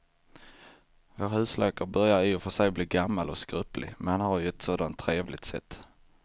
Vår husläkare börjar i och för sig bli gammal och skröplig, men han har ju ett sådant trevligt sätt!